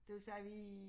Det vil sige vi